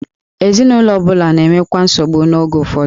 Ezinụlọ ọ bụla na-enwekwa nsogbu oge ụfọdụ.